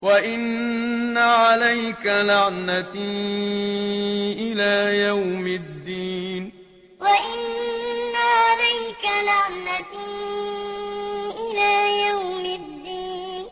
وَإِنَّ عَلَيْكَ لَعْنَتِي إِلَىٰ يَوْمِ الدِّينِ وَإِنَّ عَلَيْكَ لَعْنَتِي إِلَىٰ يَوْمِ الدِّينِ